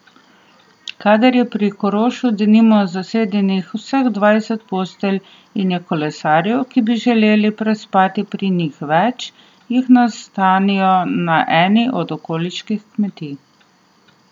Kadar je pri Korošu denimo zasedenih vseh dvajset postelj in je kolesarjev, ki bi želeli prespati pri njih, več, jih nastanijo na eni od okoliških kmetij.